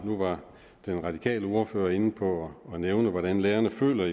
nu var den radikale ordfører inde på hvordan hvordan lærerne føler